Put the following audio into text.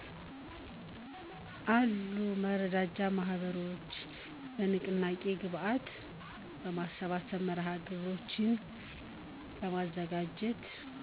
አሉ። መረዳጃ ማህበሮች በንቅናቄ ግብአት የማሰባሰብ መርሃ ግብሮችን በማዘጋጀት